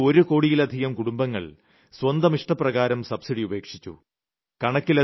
നമ്മുടെ രാജ്യത്തെ ഒരു കോടിയിലധികം കുടുംബങ്ങൾ സ്വന്തം ഇഷ്ടപ്രകാരം സബ്സിഡി ഉപേക്ഷിച്ചു